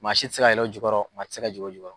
Maa si tɛ se ka yɛlɛ o jukɔrɔ maa tɛ se ka jigin o jukɔrɔ.